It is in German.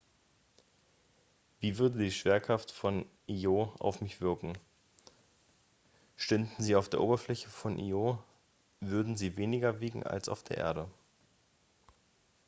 wie würde die schwerkraft von io auf mich wirken stünden sie auf der oberfläche von io würden sie weniger wiegen als auf der erde